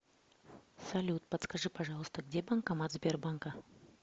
салют подскажи пожалуйста где банкомат сбербанка